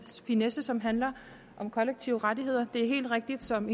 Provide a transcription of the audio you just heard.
finesse som handler om kollektive rettigheder det er helt rigtigt som